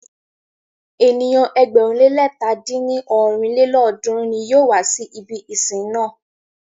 Ènìyàn ẹgbẹ̀rún le lẹ̀ta dín ní ọ́rin lélọ́ọ̀dúnrún ní yóò wá si ibi ìsìn náà.